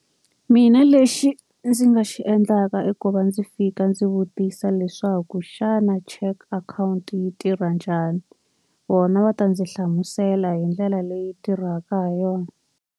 Mina lexi ndzi nga xi endlaka i ku va ndzi fika ndzi vutisa leswaku xana cheque akhawunti yi tirha njhani, vona va ta ndzi hlamusela hi ndlela leyi tirhaka ha yona.